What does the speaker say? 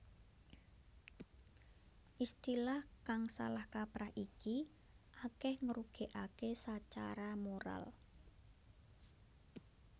Istilah kang salah kaprah iki akèh ngrugèkaké sacara moral